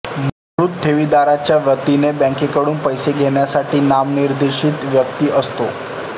मृत ठेवीदाराच्या वतीने बँकेकडून पैसे घेण्यासाठी नामनिर्देशित व्यक्ती असतो